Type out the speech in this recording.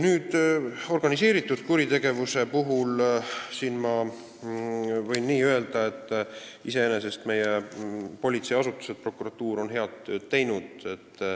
Organiseeritud kuritegevuse kohta võin öelda, et meie politseiasutused ja prokuratuur on iseenesest head tööd teinud.